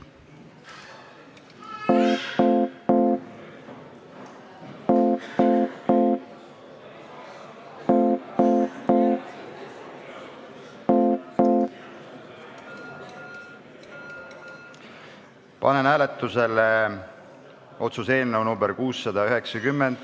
Panen hääletusele otsuse eelnõu nr 690.